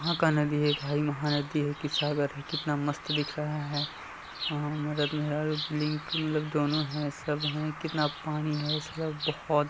कहाँ का नदी है भाई महानदी है की सागर है? कितना मस्त दिख रहा है मतलब दोनों है सब है कितना पानी है सब बोहोत --